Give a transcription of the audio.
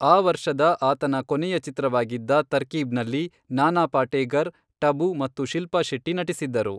ಆ ವರ್ಷದ ಆತನ ಕೊನೆಯ ಚಿತ್ರವಾಗಿದ್ದ ತರ್ಕೀಬ್ನಲ್ಲಿ ನಾನಾ ಪಾಟೇಕರ್, ಟಬು ಮತ್ತು ಶಿಲ್ಪಾ ಶೆಟ್ಟಿ ನಟಿಸಿದ್ದರು.